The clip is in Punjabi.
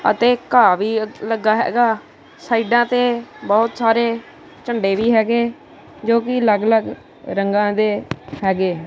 ਅਤੇ ਘਾਹ ਵੀ ਲੱਗਾ ਹੈਗਾ ਸਾਈਡਾਂ ਤੇ ਬਹੁਤ ਸਾਰੇ ਝੰਡੇ ਵੀ ਹੈਗੇ ਜੋ ਕਿ ਅੱਲਗ ਅਲੱਗ ਰੰਗਾ ਦੇ ਹੈਗੇ।